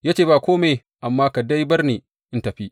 Ya ce, Ba kome, amma ka dai bar ni in tafi!